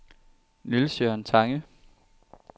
Niels-Jørgen Tange